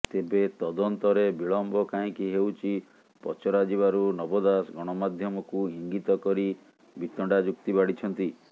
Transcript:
ତେବେ ତଦନ୍ତରେ ବିଳମ୍ବ କାହିଁକି ହେଉଛି ପଚରାଯିବାରୁ ନବ ଦାସ ଗଣମାଧ୍ୟମକୁ ଇଙ୍ଗିତ କରି ବିତଣ୍ଡା ଯୁକ୍ତି ବାଢ଼ିଛନ୍ତି